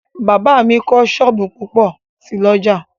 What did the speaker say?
Bàbá mi kọ́ sọ́ọ̀bù púpọ̀ sí l'ọ́jà